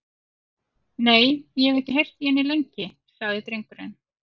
Nei, og ég hef ekki heyrt í henni lengi, sagði drengurinn.